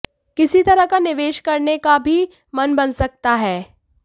किसी तरह का निवेश करने का भी मन बन सकता है